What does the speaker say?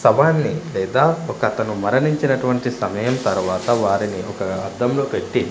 సమాధిని లేదా ఒకతను మరణించినటువంటి సమయం తరువాత వారిని ఒక అద్దం లో పెట్టి--